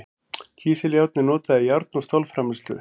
Kísiljárn er notað í járn- og stálframleiðslu.